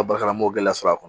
A bara n b'o gɛlɛya sɔrɔ a kɔnɔ